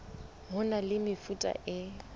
ho na le mefuta e